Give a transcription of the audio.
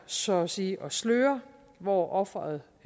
så at sige at sløre hvor offeret